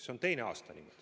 See on teine aasta.